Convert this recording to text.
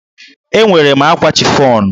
Enwere m ákwà chifọnụ.